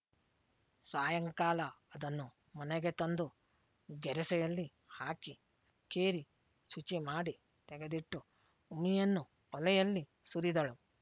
ಸಾಯಂಕಾಲ ಅದನ್ನು ಮನೆಗೆ ತಂದು ಗೆರಸೆಯಲ್ಲಿ ಹಾಕಿ ಕೇರಿ ಶುಚಿ ಮಾಡಿ ತೆಗೆದಿಟ್ಟು ಉಮಿಯನ್ನು ಒಲೆಯಲ್ಲಿ ಸುರಿದಳು